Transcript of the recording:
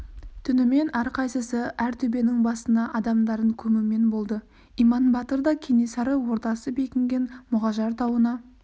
түнімен әрқайсысы әр төбенің басына адамдарын көмумен болды иман батыр да кенесары ордасы бекінген мұғажар тауына